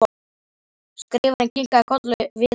Skrifarinn kinkaði kolli við og við.